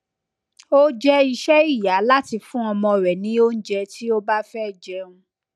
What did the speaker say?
o je ise iya lati fun omo re ni ounje ti obafe jeun